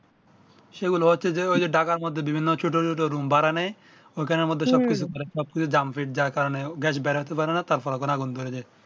সে গুলো হচ্ছে যে ঐ যে ঢাকার মধ্যে বিভিন্ন ছোট ছোট রুম ভাড়া নেয় ঐ খানের মধ্যে সব কিছু করে যার কারণে গ্যাস বের হয়তে পারে না তার পরে আগুন ধরে যায়